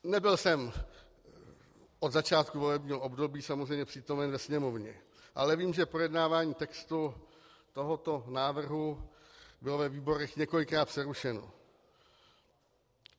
Nebyl jsem od začátku volebního období samozřejmě přítomen ve Sněmovně, ale vím, že projednávání textu tohoto návrhu bylo ve výborech několikrát přerušeno.